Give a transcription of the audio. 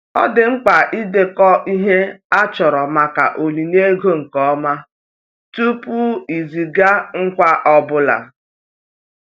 Ọ dị mkpa idekọ ihe a chọrọ maka onyinye ego nke ọma tupu iziga ngwa ọ bụla.